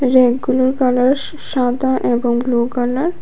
রেকগুলোর colour সা সাদা এবং ব্লু কালার ।